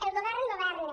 el govern governa